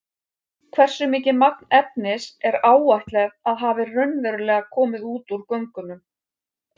Hversu mikið magn efnis er áætlað að hafi raunverulega komið út úr göngunum?